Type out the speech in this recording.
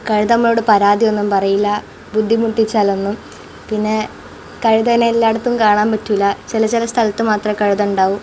കഴുത അമ്മയോട് പരാതി ഒന്നും പറയില്ല ബുദ്ധിമുട്ടിച്ചാൽ ഒന്നും പിന്നെ കഴുതേനെ എല്ലായിടത്തും കാണാൻ പറ്റില്ല ചില ചില സ്ഥലത്തെ മാത്രമേ കഴുത ഉണ്ടാകു.